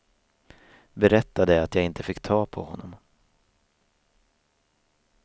Berättade att jag inte fick ta på honom.